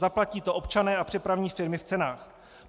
Zaplatí to občané a přepravní firmy v cenách.